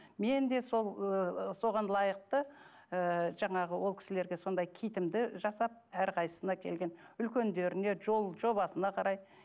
мен де сол ы соған лайықты ы жаңағы ол кісілерге сондай китімді жасап әрқайсысына келген үлкендеріне жол жобасына қарай